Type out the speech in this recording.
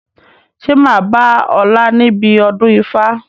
Ṣé máa bá ọ̀la níbi ọdún ifá?